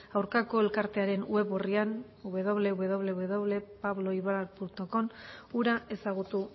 aurkako elkartearen web orrian wwwpabloibarcom hura ezagutu